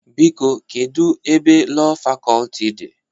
Biko, kedu ebe Lọọ Fakọlti dị?